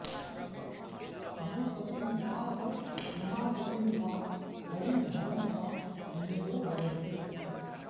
उमापतिं वाऽथ रमापतिं वा हरिं हरं वा मुनयो भजन्ते